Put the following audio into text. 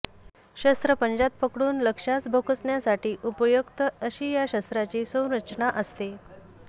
शस्त्र पंजात पकडून लक्ष्यास भोसकण्यासाठी उपयुक्त अशी या शस्त्राची संरचना असते